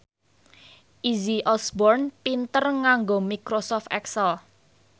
Izzy Osborne pinter nganggo microsoft excel